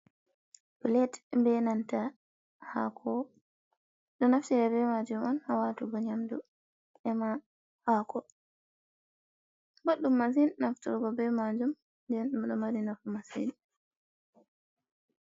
Plet be nanta hako ɗum ɗo naftira be majum on ha watugo nyamdu ema hako, ɓoɗɗum masin nafturgo be majum den ɗum ɗo mari nafu massin.